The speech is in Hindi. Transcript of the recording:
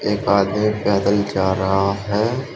एक आदमी पैदल जा रहा है।